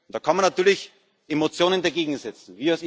Da kann man natürlich Emotionen dagegensetzen.